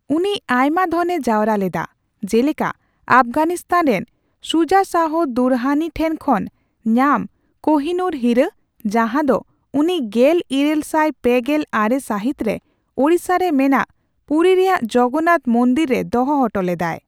ᱩᱱᱤ ᱟᱭᱢᱟ ᱫᱷᱚᱱᱮ ᱡᱟᱣᱨᱟ ᱞᱮᱫᱟ, ᱡᱮᱞᱮᱠᱟ ᱟᱯᱷᱜᱟᱱᱤᱥᱛᱟᱱ ᱨᱮᱱ ᱥᱩᱡᱟ ᱥᱟᱦᱚ ᱫᱩᱨᱨᱟᱱᱤ ᱴᱷᱮᱱ ᱠᱷᱚᱱ ᱧᱟᱢ ᱠᱳᱦᱼᱤᱼᱱᱩᱨ ᱦᱤᱨᱟᱹ, ᱡᱟᱦᱟᱸ ᱫᱚ ᱩᱱᱤ ᱜᱮᱞ ᱤᱨᱟᱹᱞ ᱥᱟᱭ ᱯᱮᱜᱮᱞ ᱟᱨᱮ ᱥᱟᱹᱦᱤᱛ ᱨᱮ ᱳᱲᱤᱥᱥᱟᱨᱮ ᱢᱮᱱᱟᱜ ᱯᱩᱨᱤ ᱨᱮᱭᱟᱜ ᱡᱚᱜᱚᱱᱱᱟᱛᱷ ᱢᱚᱱᱫᱤᱨ ᱨᱮ ᱫᱚᱦᱚ ᱦᱚᱴᱚ ᱞᱮᱫᱟᱭ ᱾